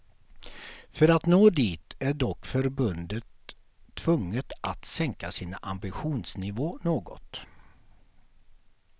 För att nå dit är dock förbundet tvunget att sänka sin ambitionsnivå något.